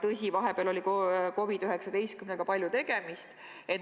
Tõsi, vahepeal oli COVID-19-ga palju tegemist.